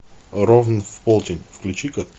ровно в полдень включи ка